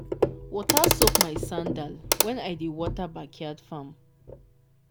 water soak my sandal when i dey water backyard farm.